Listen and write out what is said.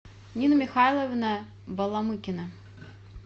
нина михайловна баламыкина